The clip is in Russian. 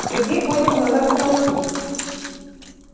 сергей поднял глаза к потолку